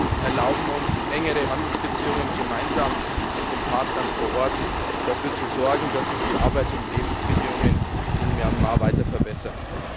Zudem erlauben uns engere Handelsbeziehungen, gemeinsam mit den Partnern vor Ort dafür zu sorgen, dass sich die Arbeits und Lebensbedingungen in Myanmar weiter verbessern.